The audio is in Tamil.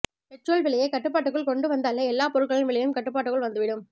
பெட்ரோல் விலையை கட்டுபாட்டுக்குள் கொண்டுவந்தாலே எல்லா பொருட்களின் விலையும் கட்டுபாட்டுக்குள் வந்துவிடும்